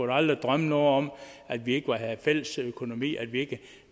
da aldrig drømme om at vi ikke havde fælles økonomi